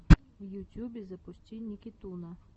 в ютюбе запусти никитуна